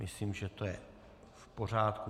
Myslím, že to je v pořádku.